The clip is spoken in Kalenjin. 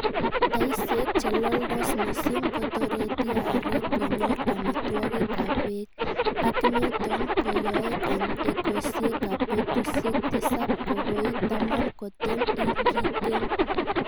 Taisiek che loldos missing kotoreti aarek konyor amitwogik ak beek, ak niton keyoe en ekosiek ab betusiek tisap ko koit taman koten ingikeny.